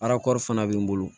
Arakɔrɔ fana bɛ n bolo